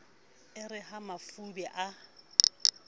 e re ha mafube a